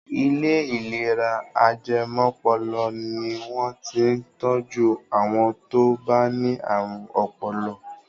Ilé ìlera ajẹmọ́pọlọ ni wọ́n ti ń tọjú àwọn tó bá ní ààrùn ọpọlọ.